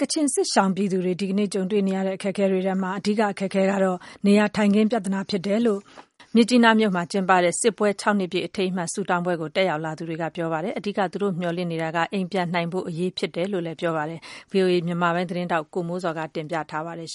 ကချင်စစ်ရှောင်ပြည်သူတွေ ဒီကနေ့ ကြုံတွေ့နေရတဲ့ အခက်အခဲတွေထဲမှာ အဓိက အခက်အခဲဟာ နေရာထိုင်ခင်း ပြဿနာဖြစ်တယ်လို့ မြစ်ကြီးနားမြို့မှာ ကျင်းပတဲ့ စစ်ပွဲ၆နှစ်ပြည့် အထိမ်းအမှတ်ဆုတောင်းပွဲကို တက်ရောက်လာသူတွေက ပြောပါတယ်။ အဓိက သူတို့မျှော်လင့်နေတာကတော့နေအိမ်ပြန်နိုင်ဖို့ အရေးဖြစ်တယ်လို့လည်း ပြောပါတယ်။ ဒီသတင်းကို ဗွီအိုအေ မြန်မာပိုင်းရဲ့သတင်းထောက် ကိုမိုးဇော်က တင်ပြထားပါတယ်။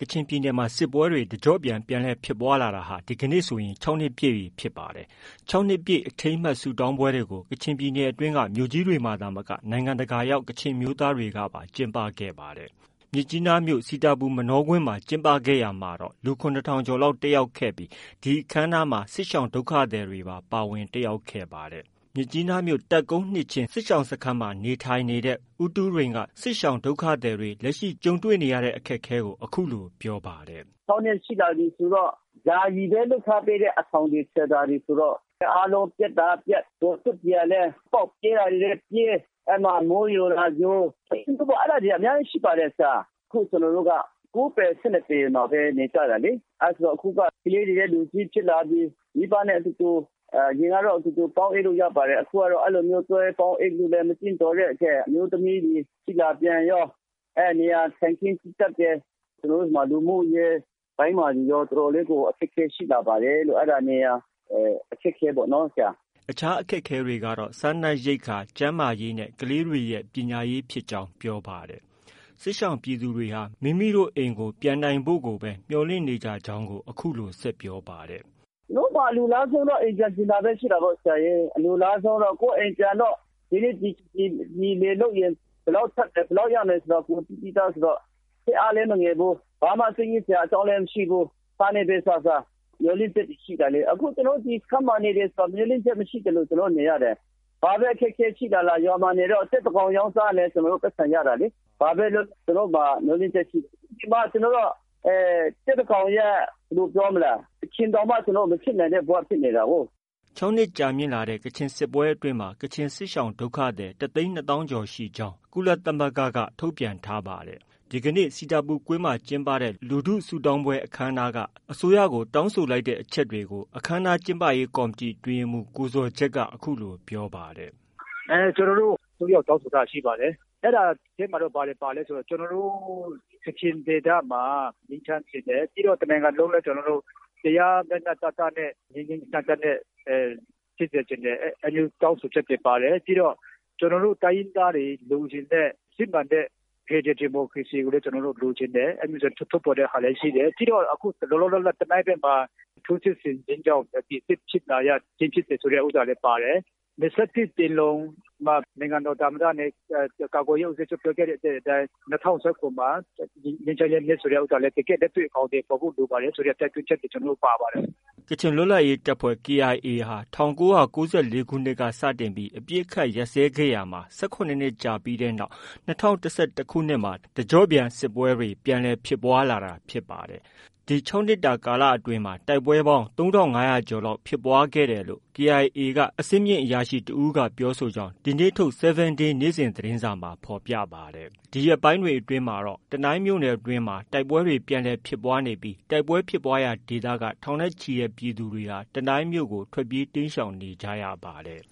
ကချင်ပြည်နယ်မှာ စစ်ပွဲတွေ တကျော့ပြန် ပြန်လည်ဖြစ်ပွားလာတာ ဒီကနေ့ဆိုရင် ၆နှစ်ပြည်ပြီဖြစ်ပါတယ်။ ၆နှစ်ပြည့်အထိမ်းအမှတ်ဆုတောင်းပွဲကို ကချင်ပြည်နယ်အတွင်းက မြို့ကြီးတွေမှာ သာမက နိုင်ငံတကာရောက် ကချင်အမျိုးသားတွေပါ ကျင်းပခဲ့ပါတယ်။ မြစ်ကြီးနားမြို့မှာတော့ စီတာပူမနောကွင်းမှာ ကျင်းပခဲ့ရာမှာ လူ ၇ထောင်ကျော်လောက် တက်ရောက်ခဲ့ပြီး ဒီအခမ်းအနားမှာ ကချင်စစ်ရှောင်ဒုက္ခသည်တွေပါ ပါဝင် တက်ရောက်ခဲ့ပါတယ်။ မြစ်ကြီးနားမြို့တပ်ကုန်း နှစ်ခြင်းစစ်ရှောင်စခန်းကို ရောက်ရှိနေတဲ့ ဦးတူးရိန်က သူတို့ လက်ရှိကြုံတွေ့နေတဲ့ အခက်အခဲကိုအခုလို ပြောပါတယ်။ " ခြောက်နှစ်ရှိလာပြီဆိုတော့ ယာယီပဲ လုပ်ထားပေးတဲ့ အဆောင်တွေ၊ shelter တွေဆိုတော့ အားလုံး ပျက်တာတွေလည်း ပျက် ပေါက်ပြဲတာတွေလည်း ပြဲ မိုးယိုတာကယို အဲ့တာတွေက အများကြီးရှိပါတယ်။ ကျနော်တို့က ကိုးပေ ဆယ့်နှစ်ပေမှာပဲ နေကြတာလေ။ အဲ့တာဆိုတော့ ကလေးတွေကလည်း လူကြီးဖြစ်လာပြီ မိဘနဲ့အတူတူအရင်ကတော့ ပေါင်းအိပ်လို့ရပါတယ်။ အခုကတော့ အဲ့လို ပေါင်းအိပ်ဖို့ မသင့်တော်တဲ့အတွက်။ အမျိုးသမီးတွေ ကြီးလာတော့ အဲ့ဒီ့နေရာထိုင်ခင်းက ကျဉ်းကြပ်တယ်။ ကျနော်တို့မှာ လူမှုရေးပိုင်းမှာရော တော်တော်ေ်လး အခက်အခဲရှိလာပါတယ်။ အဲ့တာ နေရာအခက်အခဲပေါ့နော်။" အခြားအခက်အခဲတွေကတော့ စားနပ်ရိက္ခာ၊ ကျန်းမာရေးနဲ့ ကလေးတွေရဲ့ ပညာရေးဖြစ်ကြောင်း ပြောပါတယ်။ ကချင်စစ်ရှောင်ပြည်သူတွေဟာ မိမိအိမ်ကို ပြန်နိုင်ဖို့ကိုပဲ မျှော်လင့်နေကြကြောင်း အခုလို ဆက်ပြောပါတယ်။ "ကျနော်တို့မှာ အလိုလားဆုံးကတော့ အိမ်ပြန်ချင်တာပဲရှိတာပါပဲ။ အလိုလားဆုံးကတော့ ကိုယ့်အိမ်ပြန်ရင် ဒီနှစ်လယ်လုပ်ရင် ဘယ်လောက်ထွက်မယ်ဆိုတာ ကိုယ်သိပြီးသား ဆိုတော့ စိတ်အားလည်းမငယ်ဘူး ဘာမှ စိတ်ညစ်စရာအကြောင်းလည်းမရှိဘူး။ ဆားနဲ့ပဲစားစား မျော်လင့်ချက်တွေရှိတယ် အခု ကျနော်တို့ ဒီစခန်းမှာနေတယ်ဆိုတာ မျှော်လင့်ချက်မရှိသလို ကျနော်တို့နေရတယ်။ ဘာပဲအခက်အခဲရှိရှိလေ ရွာမှာနေတယ်ဆို ကြက်တကောင်ရောင်းစားလည်း ပိုက်ဆံရတယ်လေ ဘာပဲလုပ်လုပ် ကျနော်တို့မှာ မျှော်လင့်ချက်ရှိတယ်။ ဒီမှာက ကြက်တကောင်ရဲ့ အဖြစ် တောင်မှမဖြစ်နိုင်တဲ့ ကျနော်တို့ဘဝက ဖြစ်နေတာကိုး။" ၆နှစ် ကြာမြင့်လာတဲ့ ကချင်စစ်ပွဲအတွင်းမှာ ကချင်စစ်ရှောင်ဒုက္ခသည် ၁သိန်း ၂သောင်း ကျော်ရှိကြောင်းလည်း ကုလသမဂ္ဂက ထုတ်ပြန်ထားပါတယ်။ ဒီကနေ့ စီတာပူကွင်းမှာ ကျင်းပတဲ့ လူထုဆုတောင်းပွဲအခမ်းအနားက အစိုးရကို တောင်းဆိုလိုက်တဲ့ အချက်တွေကို အခမ်းအနားကျင်းပရေးကော်မတီ အတွင်းရေးမှူး ကိုဇော်ဂျက်က အခုလို ပြောပါတယ်။ " ကျနော်တို့ အစိုးရကို တောင်းဆိုထားတာရှိပါတယ်။ အဲ့တာအထဲမှာ ဘာတွေပါလဲ ဆိုတော့ ကျနော်တို့ ကချင်ဒေသမှာ ငြိမ်းချမ်းစေချင်တယ်။ ပြီးတော့ တနိုင်ငံလုံး တရားမျှမျှတတနဲ့ ငြိမ်ငြိမ်သက်သက်ဖြစ်စေချင်တယ်။ အဲ့လိုမျိုး တောင်းဆိုချက်တွေပါတယ်။ ပြီးတော့ ကျနော်တို့ တိုင်းရင်းသားတွေ လိုချင်တဲ့ စစ်မှန်တဲ့ဖက်ဒရယ်ဒီမိုကရေစီကိုလည်း လိုချင်တယ်။ အဲ့လိုမျိုးထုတ်ဖော်တဲ့ဟာလည်းရှိတယ် ပြီးတော့ လောလောဆယ် တနိုင်းဘက်မှာ ထိုးစစ်ဆင်ခြင်းကြောင့် စစ်ဖြစ်နေတယ်ဆိုတာလည်းပါတယ်။ ၂၁ပင်လုံမှာ နိုင်ငံတော်သမ္မတနဲ့ ကာကွယ်ရေးဦးစီးချုပ်ပြောခဲ့တဲ့အတိုင်း ၂၀၁၇မှာ ငြိမ်းချမ်းရေးနှစ်ဖြစ်ဖို့ ဆိုတာလည်း တကယ်လက်တွေ့အကောင်အထည်ဖော်ဖို့လိုပြီဆိုတဲ့တိုက်တွန်းချက်တွေ ပါပါတယ်။" ကချင်လွတ်လပ်ရေးတပ်ဖွဲ့ KIA ဟာ ၁၉၉၄ခုနှစ်ကစတင်ပြီး အပစ်အခတ်ရပ်စဲခဲ့ရာမှာ ၁၇နှစ်ကြာခဲ့တဲ့နောက် ၂၀၁၁ခုနှစ်မှာ တကျော့ပြန်စစ်ပွဲတွေ ပြန်လည်ဖြစ်ပွား လာတာဖြစ်ပါတယ်။ ဒီ၆နှစ်ကာလအတွင်းမှာ တိုက်ပွဲပေါင်း ၃၅၀၀ကျော်လောက်ဖြစ် ပွားခဲ့တယ်လို့ KIA က အဆင့်မြင့်အရာရှိတဦးကပြောဆိုကြောင်း ဒီနေ့ထုတ် 7day နေ့စဉ်သတင်းစာမှာဖော်ပြထားပါတယ်။ ဒီရက်ပိုင်းတွေအတွင်းမှာတော့ တနိုင်းမြို့နယ်အတွင်းမှာ တိုက်ပွဲတွေ ပြန်လည်ဖြစ်ပွားနေပြီး တိုက်ပွဲဖြစ်ပွားရာဒေသက ထောင်နဲ့ ချီတဲ့ ပြည်သူတွေဟာ တနိုင်းမြို့ကို တိမ်းရှောင်နေကြရပါတယ်